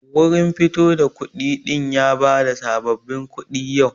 Wurin fito da kuɗi din ya bada sabbabin kuɗi yau.